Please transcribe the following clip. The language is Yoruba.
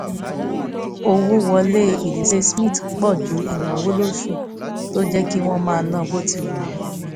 owó wọlé ìdílé smith pọ̀ ju ináwó lósù tó jẹ́ kí wọ́n máa ná bó ti wù wọ́n